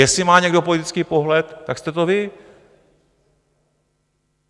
Jestli má někdo politický pohled, tak jste to vy.